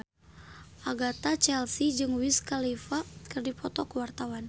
Agatha Chelsea jeung Wiz Khalifa keur dipoto ku wartawan